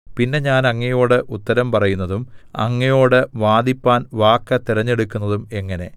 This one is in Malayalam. പിന്നെ ഞാൻ അങ്ങയോട് ഉത്തരം പറയുന്നതും അങ്ങയോട് വാദിപ്പാൻ വാക്ക് തിരഞ്ഞെടുക്കുന്നതും എങ്ങനെ